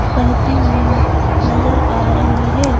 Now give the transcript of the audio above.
बहती हुई नजर आ रही हैं ।